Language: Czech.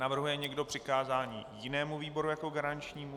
Navrhuje někdo přikázání jinému výboru jako garančnímu?